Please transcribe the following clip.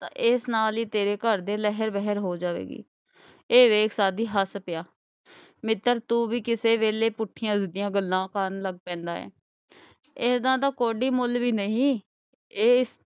ਤਾਂ ਏਸ ਨਾਲ ਈ ਤੇਰੇ ਘਰ ਦੀ ਲਹਿਰ ਵਹਿਰ ਹੋ ਜਾਵੇਗੀ। ਇਹ ਵੇਖ ਸਾਧੂ ਹੱਸ ਪਿਆ। ਮਿੱਤਰ ਤੂੰ ਕਿਸੇ ਵੇਲੇ ਪੁੱਠੀਆਂ ਸਿੱਧੀਆਂ ਗੱਲਾਂ ਕਰਨ ਲੱਗ ਪੈਂਦਾ ਏ। ਇਹਨਾਂ ਦਾ ਕੌਡੀ ਮੁੱਲ ਵੀ ਨਹੀਂ।